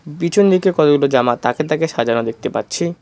পিছন দিকে কতগুলো জামা তাকে তাকে সাজানো দেখতে পাচ্ছি।